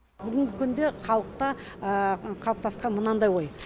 бүгінгі күнде халықта қалыптасқан мынандай ой